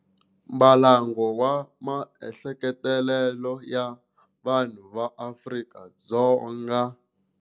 Mbalango wa Maehleketelelo ya Vanhu va Afrika-Dzonga.